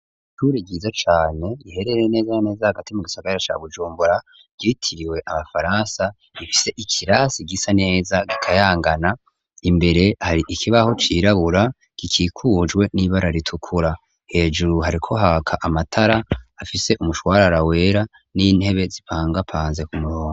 Ishure ryiza cane riherereye neza na neza hagati mu gisagara ca bujumbura ryitiriwe abafaransa rifise ikirasi gisa neza gikayangana imbere hari ikibaho cirabura gikikujwe nibara ritukura hejuru hariko haka amatara afise umushwarara wera n'intebe z'ipangapanze kumurongo.